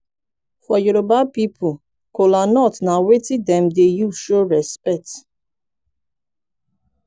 for yoroba pipol kolanut na wetin dem dey use show respekt